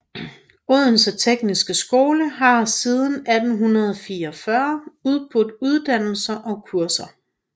Odense Tekniske Skole har siden 1844 udbudt uddannelser og kurser